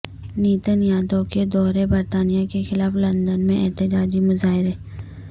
نیتن یاھو کے دورہ برطانیہ کے خلاف لندن میں احتجاجی مظاہرے